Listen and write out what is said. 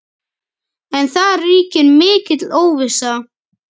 En það ríkir mikil óvissa.